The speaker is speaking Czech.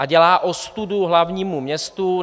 A dělá ostudu hlavnímu městu.